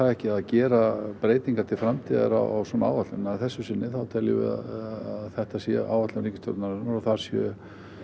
ekki að gera breytingar til framtíðar á svona áætlun en að þessu sinni þá teljum við að þetta sé áætlun ríkisstjórnarinnar og þar sé